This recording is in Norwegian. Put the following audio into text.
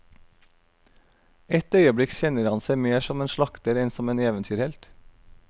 Et øyeblikk kjenner han seg mer som en slakter enn som en eventyrhelt.